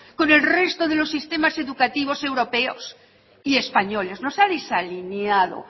con el resto de los sistemas educativos europeos y españoles nos ha desalineado